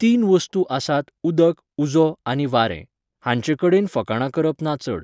तीन वस्तू आसात उदक, उजो आनी वारें. हांचे कडेन फकाणां करप ना चड.